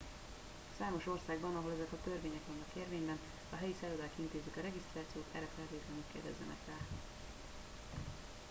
számos országban – ahol ezek a törvények vannak érvényben – a helyi szállodák intézik a regisztrációt erre feltétlenül kérdezzenek rá